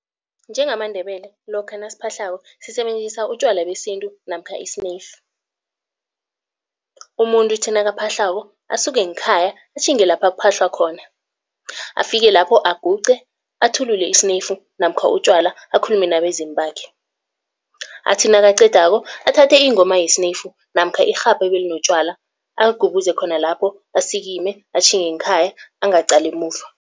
NjengamaNdebele lokha nasiphahlako sisebenzisa utjwala besintu namkha isineyifu. Umuntu uthi nakaphahlako asuke ngekhaya atjhinge lapha kuphahlwa khona, afike lapho aguqe athulule isineyifu namkha utjwala akhulume nabezimu bakhe. Athi nakaqedako athathe ingoma yesineyifu namkha irhabha ebelinotjwala aligubuze khona lapho asikime atjhinge ngekhaya angaqali emuva.